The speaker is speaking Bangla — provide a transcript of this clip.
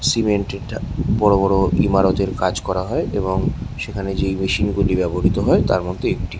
সিমেন্ট এই টা বড়ো বড়ো ইমারতের কাজ হয় এবং সেখানে যেই মেশিনগুলি ব্যবহৃত হয় তার মধ্যে একটি।